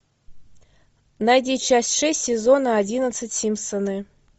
найди часть шесть сезона одиннадцать симпсоны